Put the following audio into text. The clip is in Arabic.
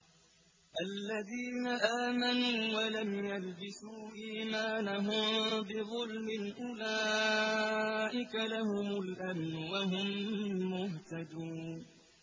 الَّذِينَ آمَنُوا وَلَمْ يَلْبِسُوا إِيمَانَهُم بِظُلْمٍ أُولَٰئِكَ لَهُمُ الْأَمْنُ وَهُم مُّهْتَدُونَ